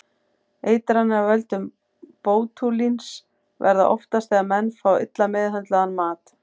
Eitranir af völdum bótúlíns verða oftast þegar menn fá illa meðhöndlaðan mat.